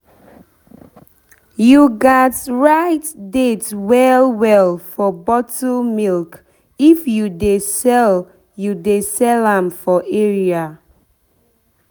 you gats write date well well for bottle milk if you dey sell you dey sell am for area.